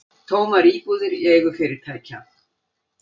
Tómar íbúðir í eigu fyrirtækja